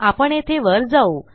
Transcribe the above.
आपण येथे वर जाऊ